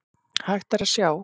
Hægt er að sjá